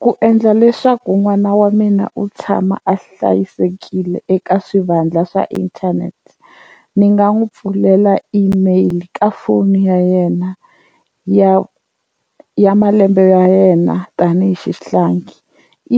Ku endla leswaku n'wana wa mina u tshama a hlayisekile eka swivandla swa internet ni nga n'wi pfulela email ka foni ya yena ya ya malembe ya yena tanihi xihlangi,